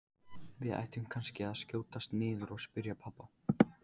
Við ættum kannski að skjótast niður og spyrja pabba.